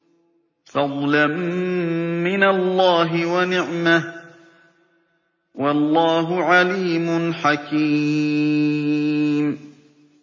فَضْلًا مِّنَ اللَّهِ وَنِعْمَةً ۚ وَاللَّهُ عَلِيمٌ حَكِيمٌ